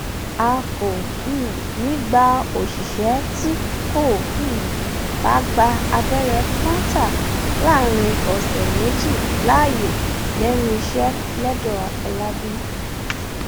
a kò um ní í gba òṣìṣẹ tí kò um bá gba abẹrẹ kọńtà láàrin ọsẹ méjì láàyè lẹnu iṣẹ lọńdọàfọlábí